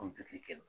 O jate kɛlen